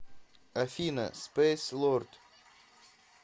афина спэйс лорд